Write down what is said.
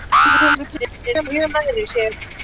Edda tekur þessar fréttir mjög nærri sér.